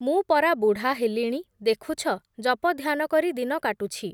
ମୁଁ ପରା ବୁଢ଼ା ହେଲିଣି, ଦେଖୁଛ ଜପଧ୍ୟାନ କରି ଦିନ କାଟୁଛି ।